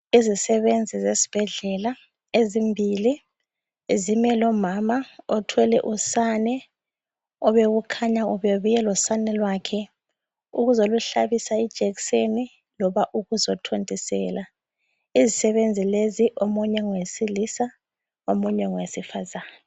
Izisebenzi zesbhedlela ezimbili zime lomama othwele usane obekukhanya ubebuye losane lwakhe ukuzoluhlabisa ijekiseni loba ukuzothontisela. Izisebenzi lezi, omunye ngowesilisa, omunye ngwesifazana.